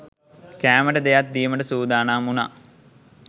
කෑමට දෙයක් දීමට සූදානම් වුණා